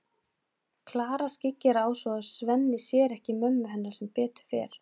Klara skyggir á svo að Svenni sér ekki mömmu hennar sem betur fer.